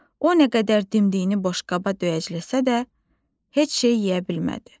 O nə qədər dimdiyini boşqaba döyəcləsə də, heç şey yeyə bilmədi.